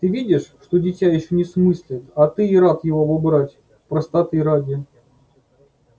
ты видишь что дитя ещё не смыслит а ты и рад его убрать простоты ради